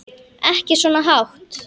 Ekki svona hátt.